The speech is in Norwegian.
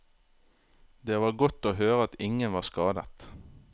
Det var godt å høre at ingen var skadet.